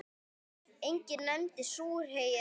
Enginn nefndi súrhey eða fúkka.